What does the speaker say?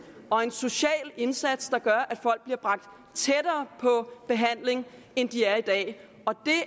og en social indsats der gør at folk bliver bragt tættere på behandling end de er i dag og det